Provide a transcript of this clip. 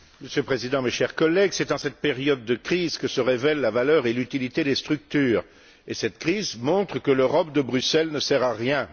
Monsieur le Président, mes chers collègues, c'est dans cette période de crise que se révèlent la valeur et l'utilité des structures, et cette crise montre que l'Europe de Bruxelles ne sert à rien.